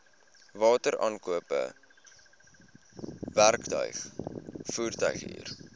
wateraankope werktuig voertuighuur